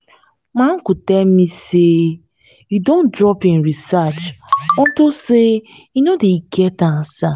my uncle tell me say e wan drop im research unto say e no dey get answer